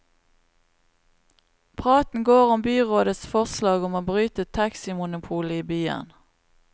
Praten går om byrådets forslag om å bryte taximonopolet i byen.